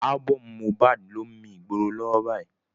Ábọ́ọ̀mù Mohbad ló ń mi ìgboro lọ́wọ́ báyìí.